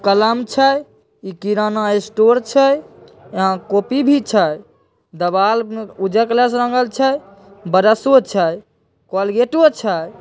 कलम छै इ किराना स्टोर छै यहां कॉपी भी छै देवाल ऊजरा कलर से रंगल छै ब्रशो छै कोलगेटो छै।